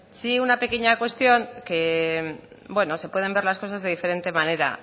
sí una pequeña cuestión que bueno se pueden ver las cosas de diferentes manera